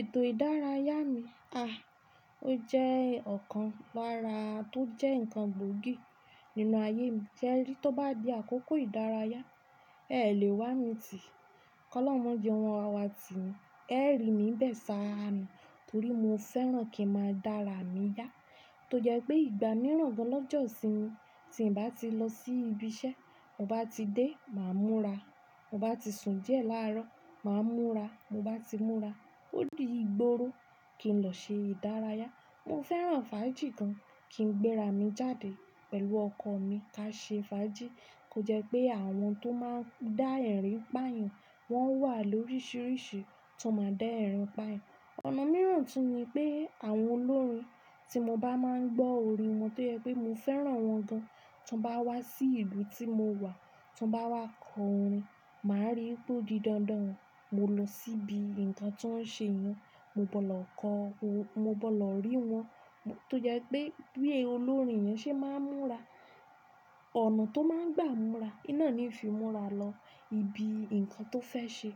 Ètò ìdárayá mi, a, ó jẹ́ ọ̀kan lára tó jẹ́ ǹkan gbòógì nínú ayé mi se ri tó bá di àkókò ìdárayá, è lè wá mi tì, kọ́lọ́un o mojẹ won o wa wá ti ni, ẹ rí mi nbẹ̀ sá ni, torí mo fẹ́ràn kí n máa dára mi yá. Tó jẹ pé ìgbà mìíràn gan lọ́jọ́ isínmi, tí ń bá ti lọ sí ibi iṣẹ́, ti mo bá ti dé, màá múra, mo bá ti sùn díẹ̀ láàárọ̀, màá múra, mo bá ti múra, ó di ìgboro kí n lọ ṣe ìdárayá. Mo fẹ́ràn fàájì gan, kí n gbéra mi jáde pẹ̀lú ọkọ mi ká ṣe fàájì. Kò jẹ́ pé àwọn tó máa ń dá ẹ̀rín pààyàn, wọ́n wà lóríṣiríṣi tó máa ń dá ẹ̀rín pààyàn. Ọ̀nà mìíràn tún ni pé àwọn olórin tí mo bá máa ń gbọ́ orin wọn tó jẹ pé mo fẹ́ràn wọn gan, tí wọ́n bá wá sí ìlú tí mo wà, tí wọ́n bá wá kọ orin, màá rí wipe o di dandan, mo lọ síbi ǹkan ti won ń ṣe yẹn, mo bọ́ lọ kọ́, mo bọ́ lọ rí wọn. Tó jẹ pé bí olórin yẹn ṣe máa ń múra, ọ̀nà tó máa ń gbà múra, ohun ná ni n fi múra lọ ibi ǹkan tó fẹ́ ṣe.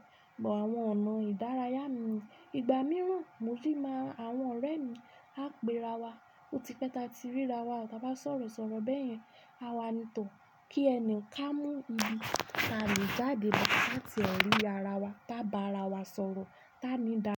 Ọ̀nà ìdárayá mi, ìgbà mìíràn mo sì máa àwọn ọ̀rẹ́ mi á pé'ra wa, ó ti pẹ́ ta ti ríra wa, ta bá sọ̀rọ̀ sọ̀rọ̀ bẹ́yẹn, àwa ni tò ki ẹni ká mú ibi táa le jáde láti ẹ̀ rí ara wa, tá bá ara wa sọ̀rọ̀, táa mi dá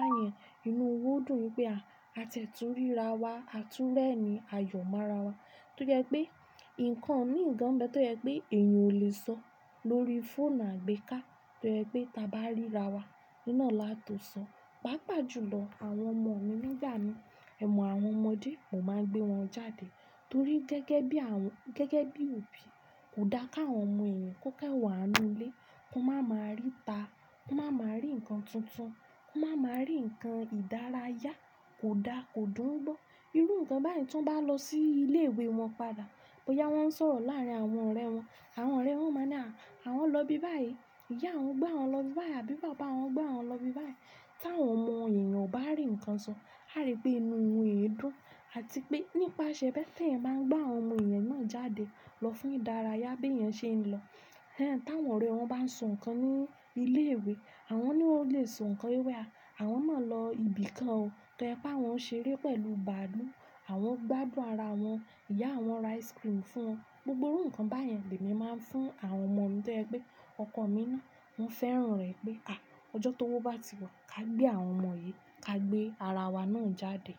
Àyàn inú wa o dùn pé a tiẹ̀ tùn ríra wa, a tún rẹ́rin a yọ̀ mọ́ra wa. Tó jẹ pé ǹkan mií gan nbe tó jẹ pé èèyàn ò lè sọ lórí fóònù àgbéká, tó jẹ pé ta bá ríra wa, oun ná là tó sọ. Pàápàá jùlọ àwọn ọmọ mi nígbà mii, ẹ̀ mọ̀ àwọn ọmọdé, mò máa ń gbé wọn jáde, torí gẹ́gẹ́ bí àwọn, gẹ́gẹ́ bí òbí, kò dá k'àwọn ọmọ èèyàn kó kanwa nínú ilé, kó máa máa ríta, kó máa máa rí ǹkan tuntun, kó máa máa rí ǹkan ìdárayá, kò dá, kò dùn gbọ́. Irú ǹkan báyìí tí wọ́n bá lọ sí ilé ìwé wọn padà, bóyá wọ́n ń sọ̀rọ̀ láàárín àwọn ọ̀rẹ́ wọn, àwọn ọ̀rẹ́ wọn máa ni "à, àwọn lọ ibi báyìí, ìyá wọn gbé wọn lọ ibi báyìí àbí bàbá wọn gbé wọn lọ ibi báyìí." Ti àwọn ọmọ èèyàn ò bá rí ǹkan sọ, á rí pé inú wọn dùn àti pé nípaṣẹ̀ bẹ́ẹ̀ tí ẹ̀eyan bá ń gbé àwọn ọmọ èèyàn náà jáde lọ fún ìdárayá bí èèyàn ṣe ń lọ. Ẹ̀hẹ́n, t'àwọn ọ̀rẹ́ wọn bá n so ǹkan ní ilé ìwé, àwọn naa ó lè so ǹkan wipe a, àwọn máa lọ ibi kan o, toje pé àwọn ṣeré pẹ̀lú bàálù, àwọn gbádùn ara wọn, ìyá wọn ra ice cream fún wọn. Gbogbo irú ǹkan báyen l'èmi máa ń fún àwọn ọmọ mi, torí pé ọkọ mi náà, woń fẹ́ràn rẹ̀ pé, à, ọjọ́ tówó bá ti wà, ká gbé àwọn ọmọ yìí, ká gbé ara wa náà jáde.